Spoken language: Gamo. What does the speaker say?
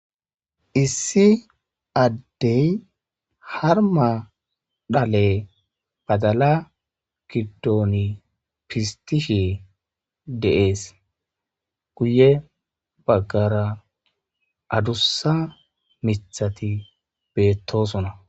Issi addey harma dhale badala giddooni pistishe deees guye baggara adussa mithati beettosuna